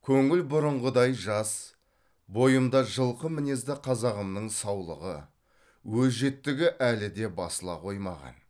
көңіл бұрынғыдай жас бойымда жылқы мінезді қазағымның саулығы өжеттігі әлі де басыла қоймаған